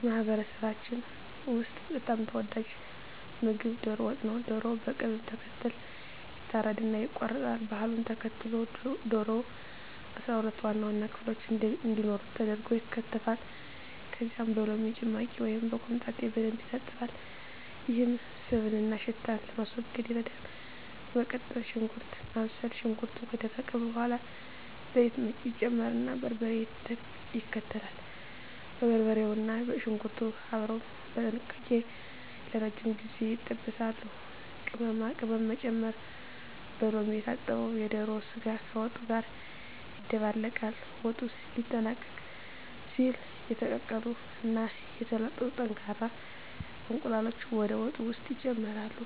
በማህበረሰባችን ውስጥ በጣም ተወዳጁ ምግብ ዶሮ ወጥ ነው። ዶሮው በቅደም ተከተል ይታረድና ይቆረጣል። ባህሉን ተከትሎ ዶሮው 12 ዋና ዋና ክፍሎች እንዲኖሩት ተደርጎ ይከተፋል። ከዚያም በሎሚ ጭማቂ ወይም በኮምጣጤ በደንብ ይታጠባል፤ ይህም ስብንና ሽታን ለማስወገድ ይረዳል። በመቀጠል ሽንኩርት ማብሰል፣ ሽንኩርቱ ከደረቀ በኋላ ዘይት ይጨመርና በርበሬ ይከተላል። በርበሬውና ሽንኩርቱ አብረው በጥንቃቄ ለረጅም ጊዜ ይጠበሳሉ። ቅመማ ቅመም መጨመር፣ በሎሚ የታጠበው የዶሮ ስጋ ከወጡ ጋር ይደባለቃል። ወጡ ሊጠናቀቅ ሲል የተቀቀሉ እና የተላጡ ጠንካራ እንቁላሎች ወደ ወጡ ውስጥ ይጨመራሉ።